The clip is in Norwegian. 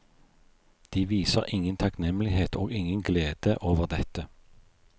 De viser ingen takknemlighet og ingen glede over dette.